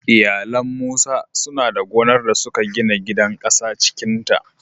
Iyalan Musa suna da gonar da suka gina gidan ƙasa cikin ta